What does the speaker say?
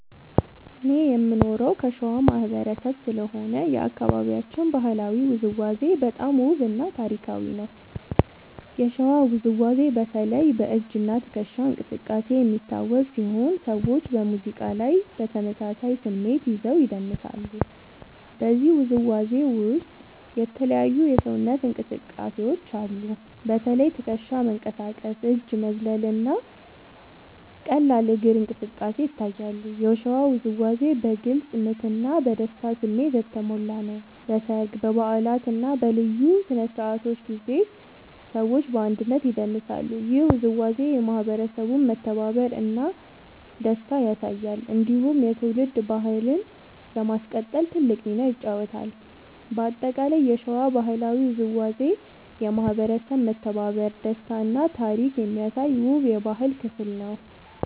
እኔ የምኖረው ከሸዋ ማህበረሰብ ስለሆነ የአካባቢያችን ባህላዊ ውዝዋዜ በጣም ውብ እና ታሪካዊ ነው። የሸዋ ውዝዋዜ በተለይ በ“እጅ እና ትከሻ እንቅስቃሴ” የሚታወቅ ሲሆን ሰዎች በሙዚቃ ላይ በተመሳሳይ ስሜት ይዘው ይደንሳሉ። በዚህ ውዝዋዜ ውስጥ የተለያዩ የሰውነት እንቅስቃሴዎች አሉ። በተለይ ትከሻ መንቀሳቀስ፣ እጅ መዝለል እና ቀላል እግር እንቅስቃሴ ይታያሉ። የሸዋ ውዝዋዜ በግልጽ ምት እና በደስታ ስሜት የተሞላ ነው። በሰርግ፣ በበዓላት እና በልዩ ስነ-ስርዓቶች ጊዜ ሰዎች በአንድነት ይደንሳሉ። ይህ ውዝዋዜ የማህበረሰቡን መተባበር እና ደስታ ያሳያል። እንዲሁም የትውልድ ባህልን ለማስቀጠል ትልቅ ሚና ይጫወታል። በአጠቃላይ የሸዋ ባህላዊ ውዝዋዜ የማህበረሰብ መተባበር፣ ደስታ እና ታሪክ የሚያሳይ ውብ የባህል ክፍል ነው።